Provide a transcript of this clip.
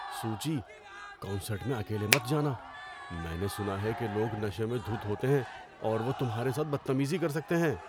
سوچی۔ کنسرٹ میں اکیلے مت جانا۔ میں نے سنا ہے کہ لوگ نشے میں دھت ہوتے ہیں اور وہ تمہارے ساتھ بدتمیزی کر سکتے ہیں۔